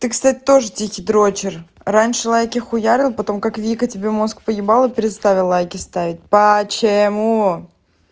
ты кстати тоже тихий дрочер раньше лайки хуярил потом как вика тебе мозг поебала перестала лайки ставить почему